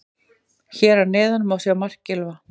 Hér að neðan má sjá mark Gylfa.